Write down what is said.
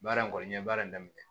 Baara in kɔni n ye baara in daminɛ